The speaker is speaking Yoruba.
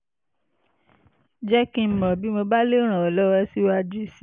jẹ́ kí n mọ̀ bí mo bá lè ràn ọ́ lọ́wọ́ síwájú sí i